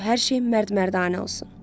Qoy hər şey mərd-mərdanə olsun.